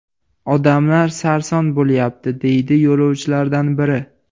Odamlar sarson bo‘lyapti”, deydi yo‘lovchilardan biri.